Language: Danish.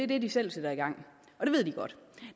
det de selv sætter i gang og det ved de godt